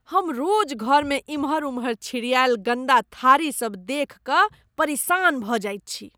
हम रोज घर में इम्हर उम्हर छिड़िआयल गन्दा थारी सब देखि कऽ परेशान भऽ जाइत छी।